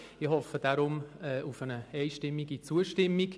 Deshalb hoffe ich auf eine einstimmige Zustimmung.